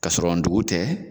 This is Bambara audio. Ka sɔrɔ ndugu tɛ